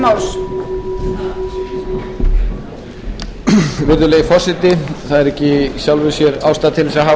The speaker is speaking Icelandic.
virðulegi forseti það er ekki í sjálfu sér ástæða til þess að hafa